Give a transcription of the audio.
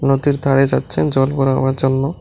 নদীর ধারে যাচ্ছেন জল ভরাবার জন্য।